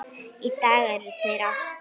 Í dag eru þeir átta.